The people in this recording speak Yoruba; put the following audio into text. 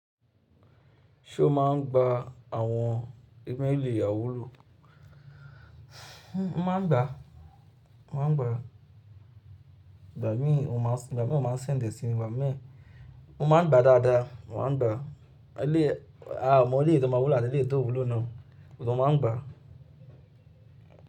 Ṣé o máa ń gba àwọn ẹgbẹ́ ìlẹ̀ ìyàwó lò? Mo máa ń gba, mo máa ń gba. Igba mi, ọmọ maa n igba mi o máa ń send e sí mi. Ẹ̀gbọ́n mi, mo máa ń gba dáadáa, mo máa ń gba. Àmọ éléyì tó má wúlo àti éléyì tó wulo náà, mo tún máa ń gba.